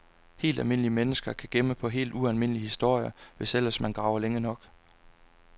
Helt almindelige mennesker kan gemme på helt ualmindelige historier, hvis ellers man graver længe nok.